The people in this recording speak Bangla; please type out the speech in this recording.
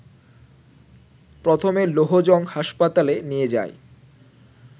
প্রথমে লৌহজং হাসপাতালে নিয়ে যায়